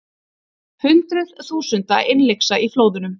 Hundruð þúsunda innlyksa í flóðunum